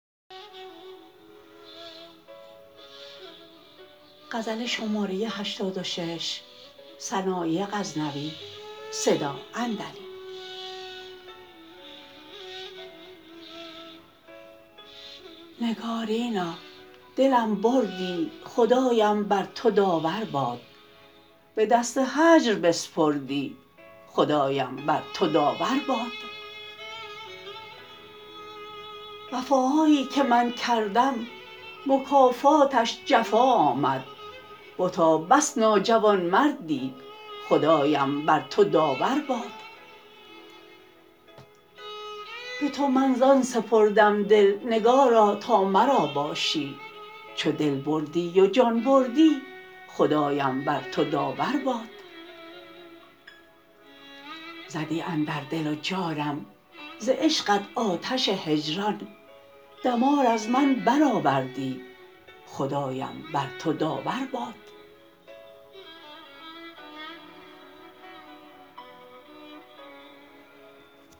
نگارینا دلم بردی خدایم بر تو داور باد به دست هجر بسپردی خدایم بر تو داور باد وفاهایی که من کردم مکافاتش جفا آمد بتا بس ناجوانمردی خدایم بر تو داور باد به تو من زان سپردم دل نگارا تا مرا باشی چو دل بردی و جان بردی خدایم بر تو داور باد زدی اندر دل و جانم ز عشقت آتش هجران دمار از من برآوردی خدایم بر تو داور باد